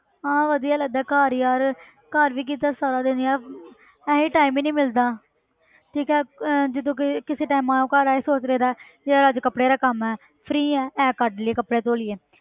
ਹਾਂ ਵਧੀਆ ਲੱਗਦਾ ਘਰ ਯਾਰ ਘਰ ਵੀ ਕਿੱਥੇ ਸਾਰਾ ਦਿਨ ਯਾਰ ਇਹੀ time ਹੀ ਨੀ ਮਿਲਦਾ ਠੀਕ ਅਹ ਜੇ ਤੂੰ ਕਹੇ ਕਿਸੇ time ਆਹ ਕਰਾਂ ਇਹ ਸੋਚ ਲਈਦਾ ਹੈ ਯਾਰ ਅੱਜ ਕੱਪੜੇ ਦਾ ਕੰਮ ਹੈ free ਹੈ ਇਹ ਕੱਢ ਲਈਏ ਕੱਪੜੇ ਧੌ ਲਈਏ